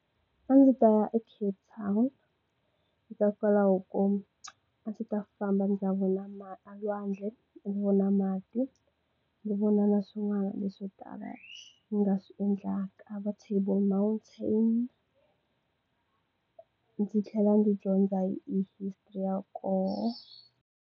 A ndzi ta ya eCape Town hikokwalaho ko a ndzi ta famba ndza vona lwandle ndzi vona mati ndzi vona na swin'wana leswo tala ndzi nga swi endlaka va Table mantain ndzi tlhela ndzi dyondza hi history ya kona.